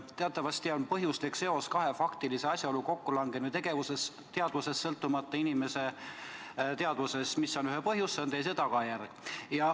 Teatavasti on põhjuslik seos kahe faktilise asjaolu kokkulangemine tegelikkuses, sõltumata inimese teadvusest, see, mis on ühes asjas põhjus, on teises tagajärg.